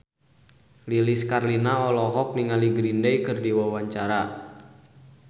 Lilis Karlina olohok ningali Green Day keur diwawancara